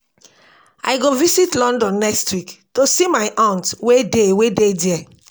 I go visit London next week go see my aunt wey dey wey dey ghere